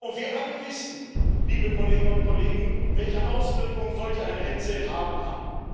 Und wir alle wissen, liebe Kolleginnen und Kollegen, welche Auswirkungen solch eine Hetze haben kann.